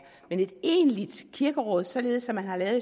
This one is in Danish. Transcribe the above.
men et egentligt kirkeråd således som man har lavet